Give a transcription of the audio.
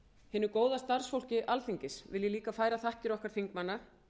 hinu góða starfsfólki alþingis vil ég líka færa þakkir okkar þingmanna